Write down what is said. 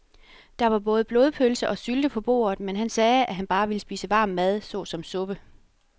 Der var både blodpølse og sylte på bordet, men han sagde, at han bare ville spise varm mad såsom suppe.